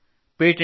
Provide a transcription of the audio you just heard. ಹಾ ಸರ್